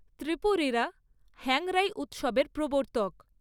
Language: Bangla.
ত্রিপুরীরা হ্যাংরাই উৎসবের প্রবর্তক।